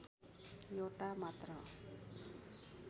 एउटा मात्र